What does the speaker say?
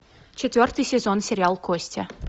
четвертый сезон сериал кости